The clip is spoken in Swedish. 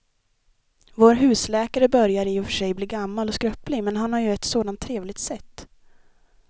Vår husläkare börjar i och för sig bli gammal och skröplig, men han har ju ett sådant trevligt sätt!